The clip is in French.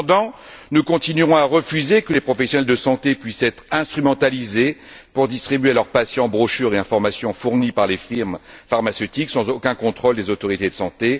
Cependant, nous continuerons à refuser que les professionnels de santé puissent être instrumentalisés pour distribuer à leurs patients brochures et informations fournies par les firmes pharmaceutiques sans aucun contrôle des autorités de santé.